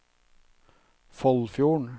Foldfjorden